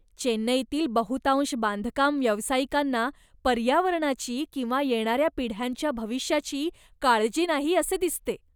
चेन्नईतील बहुतांश बांधकाम व्यावसायिकांना पर्यावरणाची किंवा येणाऱ्या पिढ्यांच्या भविष्याची काळजी नाही, असे दिसते.